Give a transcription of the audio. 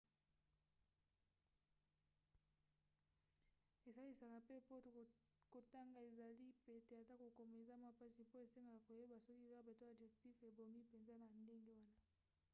esalisaka mpe mpo kotanga ezala pete ata kokoma eza mwa mpasi mpo esengaka koyeba soki verbe to adjectif ebongi mpenza na ndenge wana